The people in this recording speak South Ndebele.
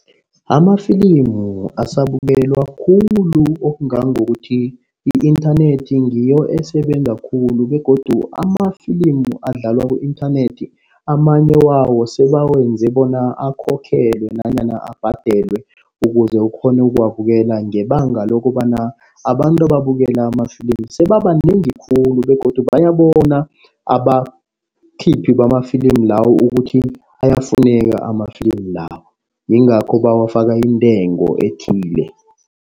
Amafilimu asabukelwa khulu okungangokuthi i-inthanethi ngiyo esebenza khulu begodu amafilimu adlalwa ku-inthanethi amanye wawo, sebawenza bona akhokhelwe nanyana abhadelwe ukuze ukghone ukuwabukela. Ngebanga lokobana abantu ababukela amafilimu sebabanengi khulu begodu bayabona abakhiphi bamafilimu lawo ukuthi ayafuneka amafilimi lawo. Yingakho bawafaka intengo ethile.